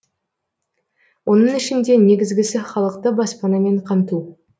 оның ішінде негізгісі халықты баспанамен қамту